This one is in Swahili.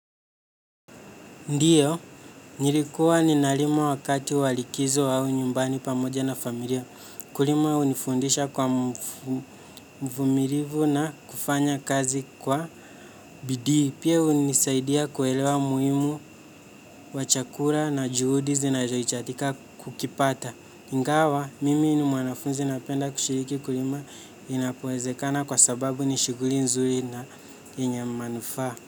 Ndiyo, nilikuwa ninalima wakati wa likizo au nyumbani pamoja na familia. Kulima hunifundisha kuwa mvumilivu na kufanya kazi kwa bidii. Pia hunisaidia kuelewa muhimu wa chakula na juhudi zinazohitajika kukipata. Ingawa, mimi ni mwanafunzi napenda kushiriki kulima inapowezekana kwa sababu ni shughuli nzuri na yenye manufaa.